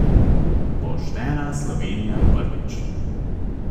Poštena Slovenija prvič.